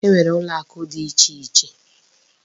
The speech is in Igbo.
E nwere ụlọakụ dị ichè iche.